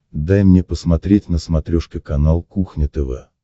дай мне посмотреть на смотрешке канал кухня тв